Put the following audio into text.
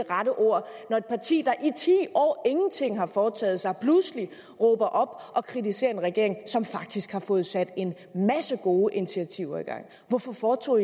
rette ord når et parti der i ti år ingenting har foretaget sig pludselig råber og kritiserer en regering som faktisk har fået sat en masse gode initiativer i gang hvorfor foretog